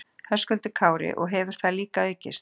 Höskuldur Kári: Og hefur það líka aukist?